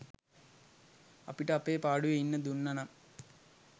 අපිට අපේ පාඩුවෙ ඉන්න දුන්නනම්